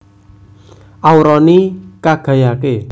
Aura ni Kagayake